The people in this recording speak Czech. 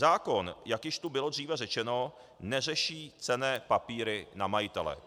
Zákon, jak již tu bylo dříve řečeno, neřeší cenné papíry na majitele.